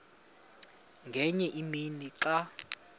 ngenye imini xa